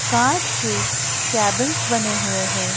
कांच के कैबिंस बने हुए हैं।